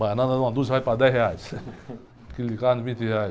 Banana uma dúzia vai para dez reais, aquilo de carne vinte reais.